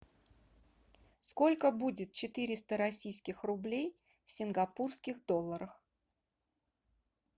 сколько будет четыреста российских рублей в сингапурских долларах